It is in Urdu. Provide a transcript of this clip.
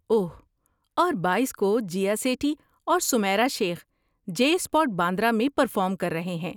اوہ، اور بائیس کو، جیا سیٹھی اور سمیرا شیخ جے اسپٹ باندرہ میں پرفارم کر رہے ہیں